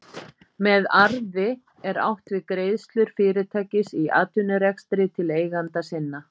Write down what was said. með arði er átt við greiðslur fyrirtækis í atvinnurekstri til eigenda sinna